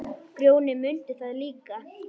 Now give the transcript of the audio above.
Grjóni mundi það líka.